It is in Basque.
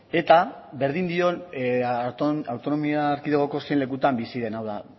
eta berdin dion autonomia erkidegoko zein lekutan bizi den hau da